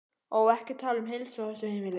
Ó, ekki tala um heilsu á þessu heimili.